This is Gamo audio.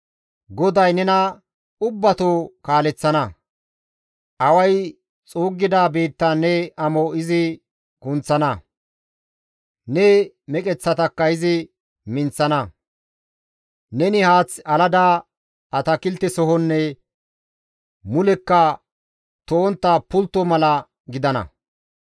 GODAY nena ubbatoo kaaleththana; away xuuggida biittan ne amo izi kunththana; ne meqeththatakka izi minththana. Neni haath alada atakiltesohonne mulekka to7ontta pultto mala gidana.